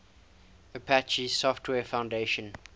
apache software foundation